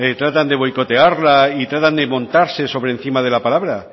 tratan de boicotearla y tratan de montarse sobre encima de la palabra